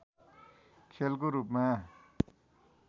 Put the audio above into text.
खेलको रूपमा